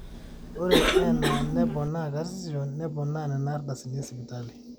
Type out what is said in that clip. ore enaa nepona karsisisho nepona nenaardasini esipitali